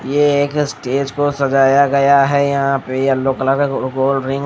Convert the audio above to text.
ये एक स्टेज को सजाया गया है। यहां पे येलो कलर का गोल्ड रिंग --